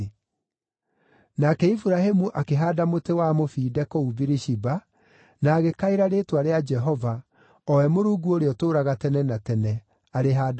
Nake Iburahĩmu akĩhaanda mũtĩ wa mũbinde kũu Birishiba, na agĩkaĩra rĩĩtwa rĩa Jehova, o we Mũrungu Ũrĩa-Ũtũũraga-Tene-na-Tene, arĩ handũ hau.